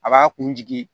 A b'a kun jigi